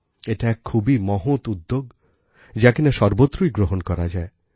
এটা এক খুবই মহৎ উদ্যোগ যা কিনা সর্বত্রই গ্রহণ করা যায়